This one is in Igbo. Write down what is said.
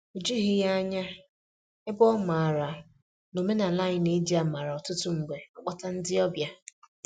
O jughị ya ányá, ebe ọ maara na omenala anyị na-eji amara ọtụtụ mgbe akpọta ndị ọbịa.